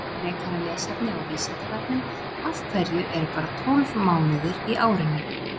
Frekara lesefni á Vísindavefnum Af hverju eru bara tólf mánuðir í árinu?